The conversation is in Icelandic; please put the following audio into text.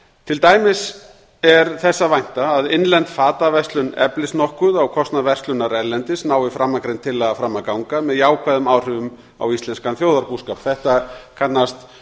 til dæmis er þess að vænta að innlend fataverslun eflist nokkuð á kostnað verslunar erlendis nái framangreind tillaga fram að ganga með jákvæðum áhrifum á íslenskan þjóðarbúskap þetta kannast